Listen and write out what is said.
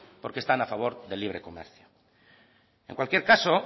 porque están a favor del libre comercio en cualquier caso